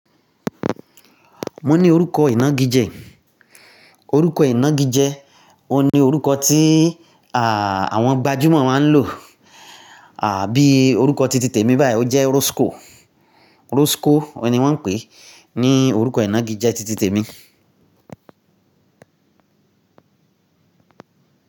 Mo ni orúkọ ìnagijẹ. Orúkọ ìnagijẹ, o ni orúkọ ti, à, àwọn gbajúmọ̀ máa ń lò, à, bi orúkọ titi tèmi báyìí, o jẹ́ Rosco. Rosco o ni wọ́n ń pè é ní orúkọ ìnagijẹ titi tèmi.